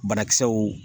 Banakisɛw